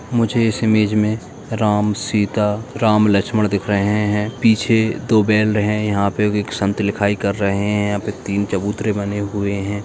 मुझे इस इमेज में राम सीता राम लक्ष्मण दिख रहे है पीछे दो बैल हैं यहाँ पे एक संत लिखाई कर रहे हैं यहाँ पे तीन चबूतरे बने हुए हैं।